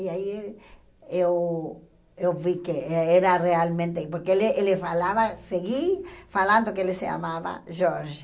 E aí eu eu vi que era realmente... Porque ele ele falava, segui falando que ele se chamava Jorge.